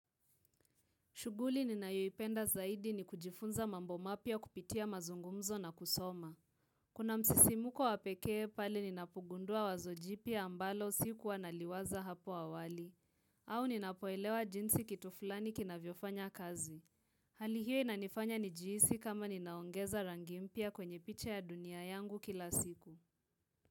Shuguli nina yuipenda zaidi ni kujifunza mambo mapya kupitia mazungumzo na kusoma. Kuna msisimuko wa pekee pale ninapogundua wazo jipya ambalo sikuwa naliwaza hapo awali. Au ninapoelewa jinsi kitu fulani kina viofanya kazi. Hal hio inanifanya nijihisi kama ninaongeza rangi mpya kwenye piche ya dunia yangu kila siku.